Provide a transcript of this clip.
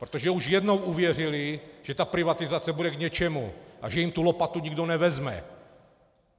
Protože už jednou uvěřili, že ta privatizace bude k něčemu a že jim tu lopatu nikdo nevezme.